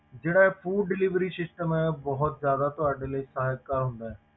ਜਿਹੜਾ ਇਹ food delivery system ਹੈ, ਉਹ ਬਹੁਤ ਜ਼ਿਆਦਾ ਤੁਹਾਡੇ ਲਈ ਸਹਾਇਕ ਹੁੰਦਾ ਹੈ,